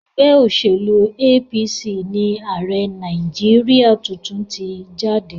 Ẹgbẹ́ òṣèlú APC ni ààrẹ Nàìjíríà tuntun ti jáde.